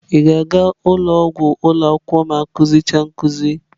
Ị ga-aga ụlọ ọgwụ ụlọ akwụkwọ ma akụzi cha nkuzi?